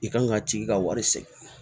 I kan ka tigi ka wari sɛgɛn